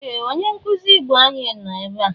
Ee! Onye nkụzi Igbo anyi nọ ebea.